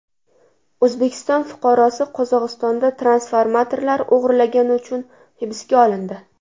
O‘zbekiston fuqarosi Qozog‘istonda transformatorlar o‘g‘irlagani uchun hibsga olindi.